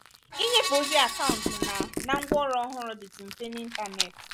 ịnyefe ozi akaụntụ na na ngwaọrụ ọhụrụ dịtụ mfe n'ịntanetị